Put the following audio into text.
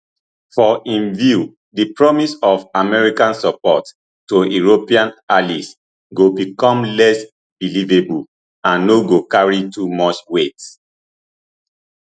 for im view di promise of american support to european allies go become less believable and no go carry too much weight